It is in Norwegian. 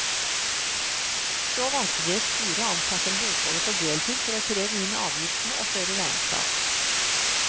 Så valgte de et styre og ansatte en bokholder på deltid for å kreve inn avgiftene og føre regnskap.